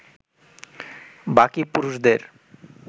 বাকি পুরুষদের